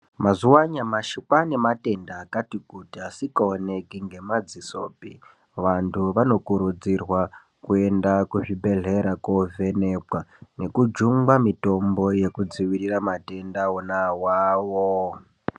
Mazuwa anyamashi kwane matenda akati kuti asingaoneki ngemadzisopi vantu vanokurudzirwa kuenda kuzvibhedhleya kovhenekwa nekujungwa mitombo yekudzivirira matenda ona awawo.